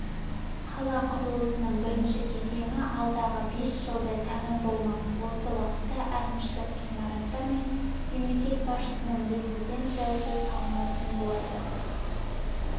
қала құрылысының бірінші кезеңі алдағы бес жылда тәмам болмақ осы уақытта әкімшілік ғимараттар мен мемлекет басшысының резиденциясы салынатын болады